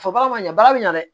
Fɔ baga ma ɲa baara be ɲɛ dɛ